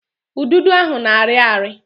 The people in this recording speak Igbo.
Udido ahụ na-arị ari